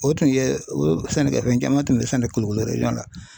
O tun ye o sɛnɛ kɛ fɛn caman tun bɛ sɛnɛ kulikoro na